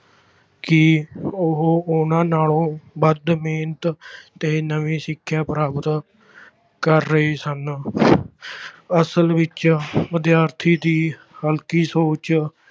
ਕਿ ਉਹ ਉਹਨਾਂ ਨਾਲੋਂ ਵੱਧ ਮਿਹਨਤ ਤੇ ਨਵੀਂ ਸਿੱਖਿਆ ਪ੍ਰਾਪਤ ਕਰ ਰਹੇ ਹਨ ਅਸਲ ਵਿੱਚ ਵਿਦਿਆਰਥੀ ਦੀ ਹਲਕੀ ਸੋਚ